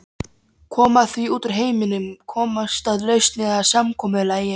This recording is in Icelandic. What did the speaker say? Koma því út úr heiminum, komast að lausn eða samkomulagi.